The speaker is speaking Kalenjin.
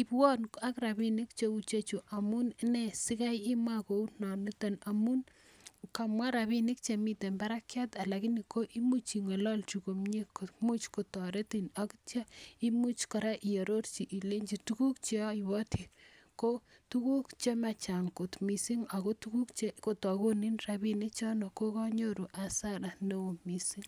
ibwon ak rabinik cheu icheju. Amunee sigai imwa kounon ito? Amun, kamwa rabinik che miten barakyat lakini imuch ing'ololchi komye komuch kotoretin ak kityo imuch kora iororchi ilenji tuguk che oiboti ko tuguk che machang kot mising ago tuguk che kotagonin rabinik chono koganyoru hasara neo mising.